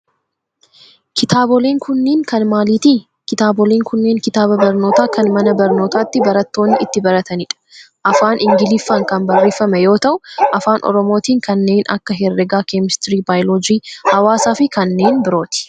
Kitaaboleen kunniin kan maaliiti? Kitaaboolen kunnneen kitaaba barnootaa kan mana barnootatti barattoonni itti baratani dha. Afaan ingiliffaan kan barreeffame yoo ta'u afaan oromootin kanneen akka herregaa, keemistirii, baayoloojii, hawaasa fi kanneen birooti.